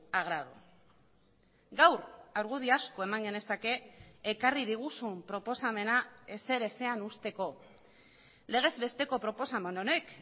agrado gaur argudio asko eman genezake ekarri diguzun proposamena ezer ezean uzteko legez besteko proposamen honek